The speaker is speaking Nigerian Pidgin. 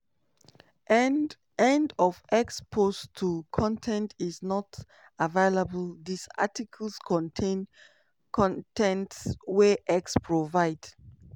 end end of x post 2 con ten t is not available dis article contain con ten t wey x provide.